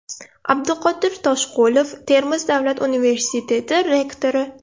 Abduqodir Toshqulov, Termiz davlat universiteti rektori.